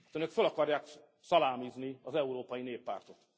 Önök föl akarják szalámizni az Európai Néppártot.